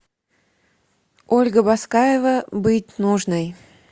ольга баскаева быть нужной